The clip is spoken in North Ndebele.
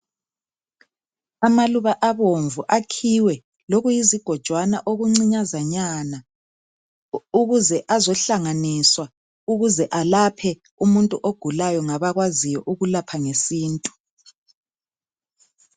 amaluba abomvu akhiwe lokuyizigojwana okuncinyazanyana ukuze azohlanganiswa ukuze alaphe umuntu ogulayo okwaziyo ukulapha ngesintu